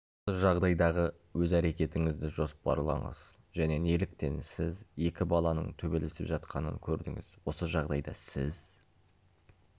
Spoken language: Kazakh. осы жағдайдағы өз әрекетіңізді жоспарлаңыз және неліктен сіз екі баланың төбелесіп жатқанын көрдіңіз осы жағдайда сіз